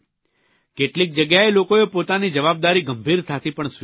કેટલીક જગ્યાએ લોકોએ પોતાની જવાબદારી ગંભીરતાથી પણ સ્વીકારી છે